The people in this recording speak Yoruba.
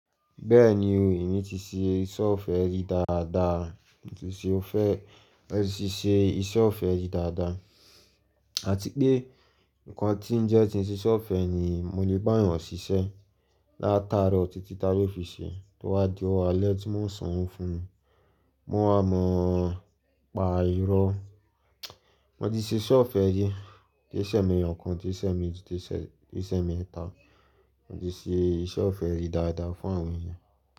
Bẹ́ẹ̀ni o, èmi ti ṣe iṣẹ́ ọ̀fẹ́ rí dáadáa, mo ti ṣe ó fẹ́, ẹ ti ṣe iṣẹ́ ọ̀fẹ́ rí dáadáa. Àti pé nǹkan tí ń jẹ́ ti ń ṣe iṣẹ́ ọ̀fẹ́ ni mo lè bá èèyàn ṣiṣẹ́ látarọ̀ títí tá ló fi ṣe tó wá di ọ̀wá alẹ́ tí mò ń sọ̀ún fún un. Mo a mọ̀ pa ìrọ́, mo ti ṣe iṣẹ́ ọ̀fẹ́ rì kìí. Ṣe ọ̀kan, kìí ṣe ẹ̀ẹ̀meji, kìí ṣe ẹ̀mẹ́ta. Mo ti ṣe iṣẹ́ ọ̀fẹ́ yìí dáadáa fún àwọn èèyàn.